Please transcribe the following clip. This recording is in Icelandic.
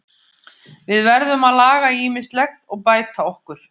Við verðum að laga ýmislegt og bæta okkur.